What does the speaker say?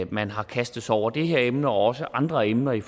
man har kastet sig over det her emne og også andre emner i